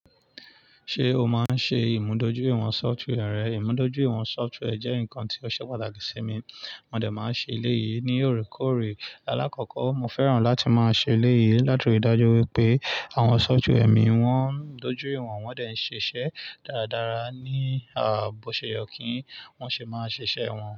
Ṣé o máa ń ṣe ìmúdójúìwọ̀n software rẹ? Ìmúdójúìwọ̀n software jẹ́ nǹkan tí ó ṣe pàtàkì sí mi, mo de máa ń ṣe eléyìí ní òrékòrè. Alákọ̀ọ́kọ́, mo fẹ́ràn láti máa ṣe eléyìí láti rí dájú wípé àwọn software mi wọ́n dojú ìwọ̀n, wọn de n ṣiṣẹ́ dáradára ní ààbòseye kí wọ́n ṣe máa ṣiṣẹ́ wọn.